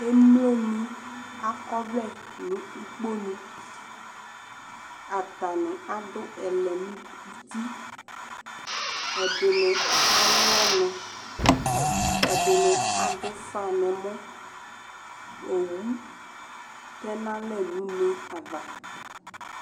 Emloni ak'ɔvlɛ nʋ ukponu Atani adʋ ɛlɛn'uti, ɛdini alʋ ɔnʋ, ɛdini ad'ʋfa n'ɛmɔ Owu tɛnalɛ n'une ava